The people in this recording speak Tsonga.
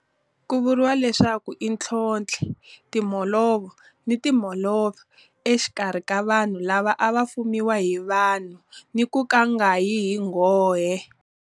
Ku vuriwa leswaku i ntlhontlhi timholovo ni timholovo exikarhi ka vanhu lava a va fumiwa hi vanhu ni ku nga yi hi nghohe.